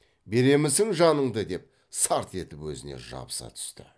беремісің жаныңды деп сарт етіп өзіне жабыса түсті